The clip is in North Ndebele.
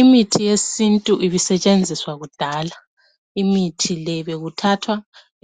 Imithi yesintu ibisetshenziswa kudala. Imithi le bekuthathwa